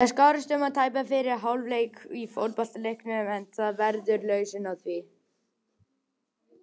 Það skarast um tæpan fyrri hálfleik í fótboltaleiknum en það verður lausn á því.